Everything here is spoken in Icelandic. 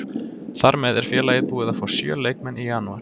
Þar með er félagið búið að fá sjö leikmenn í janúar.